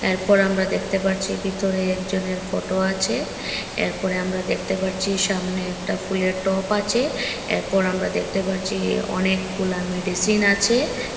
এরপর আমরা দেখতে পারছি ভিতরে একজনের ফটো আছে এরপরে আমরা দেখতে পাচ্ছি সামনে একটা ফুলের টপ আছে এরপর আমরা দেখতে পাচ্ছি অনেকগুলা মেডিসিন আছে।